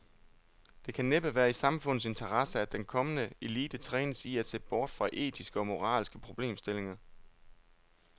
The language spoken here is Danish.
Det kan næppe være i samfundets interesse, at den kommende elite trænes i at se bort fra etiske og moralske problemstillinger.